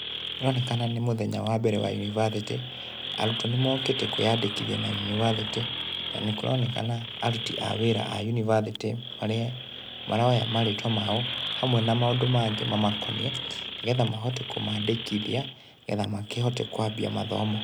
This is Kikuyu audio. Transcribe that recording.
Ĩronekana nĩ mũthenya wa mbere wa yunibacĩtĩ, arutwo nĩmokĩte kwĩyandĩkithia na yunibacĩtĩ, na nĩkũronekana aruti a wĩra a yunibacĩtĩ maroya marĩtwa mao, hamwe na maũndũ mangĩ mamakoniĩ nĩgetha mahote kũmandĩkithia, nĩgetha makĩhote kũambia mathomo.